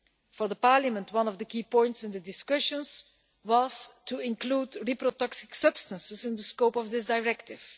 For Parliament, one of the key points in the discussions was to include reprotoxic substances in the scope of this directive.